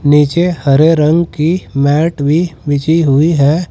नीचे हरे रंग की मैट भी बिछी हुई है।